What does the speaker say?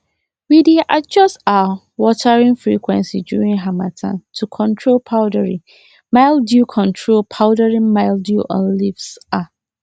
we dey adjust um watering frequency during harmattan to control powdery mildew control powdery mildew on leaves um